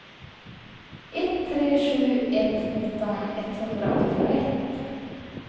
ett tre sju ett nitton etthundraåttioett